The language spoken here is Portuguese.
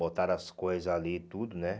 Botaram as coisas ali e tudo, né?